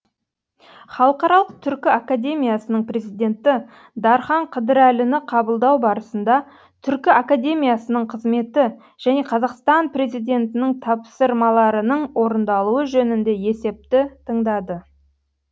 халықаралық түркі академиясының президенті дархан қыдырәліні қабылдау барысында түркі академиясының қызметі және қазақстан президентінің тапсырмаларының орындалуы жөнінде есепті тыңдады